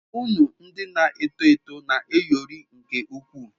Unu ndị na-eto eto na-ayọrị nke ukwuu.